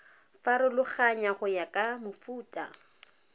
farologana go ya ka mofuta